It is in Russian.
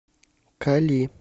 кали